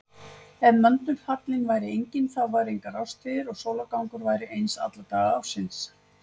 Ef möndulhallinn væri enginn þá væru engar árstíðir og sólargangur væri eins alla daga ársins.